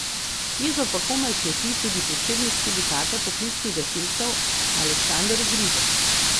Jezo pa komaj kroti tudi predsednik Sindikata poklicnih gasilcev Aleksander Ogrizek.